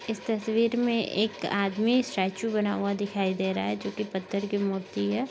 इस तस्वीर मे एक आदमी स्टॅचू बना हुआ दिखाई दे रहा है जो की पत्थर की मूर्ति है।